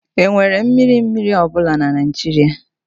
Enwere mmiri mmiri ọ bụla na Nigeria?